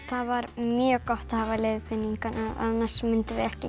það var mjög gott að hafa leiðbeiningarnar annars myndum við ekki